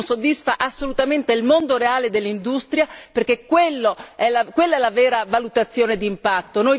Non soddisfa assolutamente il mondo reale dell'industria, perché quella è la vera valutazione d'impatto.